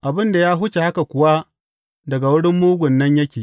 Abin da ya wuce haka kuwa daga wurin Mugun nan yake.